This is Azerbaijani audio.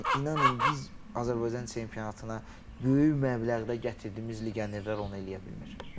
Yəni inanın biz Azərbaycan çempionatına böyük məbləğdə gətirdiyimiz legionerlər onu eləyə bilmir.